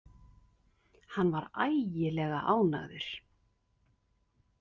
Hann var ægilega ánægður.